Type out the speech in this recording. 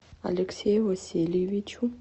алексею васильевичу